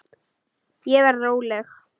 Ég verð róleg.